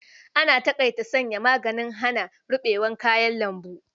An taƙaita sanya magugnan hana rubewar kayan lambu.